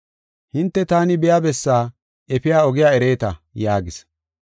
Hinte taani biya bessaa efiya ogiya ereeta” yaagis.